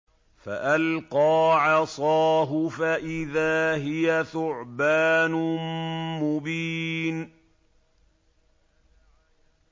فَأَلْقَىٰ عَصَاهُ فَإِذَا هِيَ ثُعْبَانٌ مُّبِينٌ